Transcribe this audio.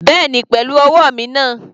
Bẹ́ẹ̀ni pẹ̀lú ọwọ́ mi náà.